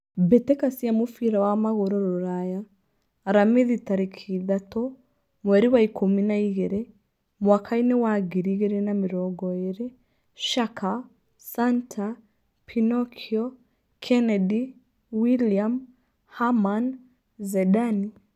Mbitika cia mũbira wa magũrũ rũraya, aramithi tarĩki ithatũ, mweri wa ikũmi na igĩrĩ, mwakainĩ wa ngiri igĩrĩ na mĩrongo ĩrĩ: Shaka, Santa, Pinokio, Kennedy, William, Haman, Zedani